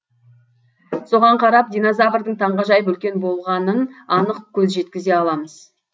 соған қарап динозаврдың таңғажайып үлкен болғанын анық көз жеткізе аламыз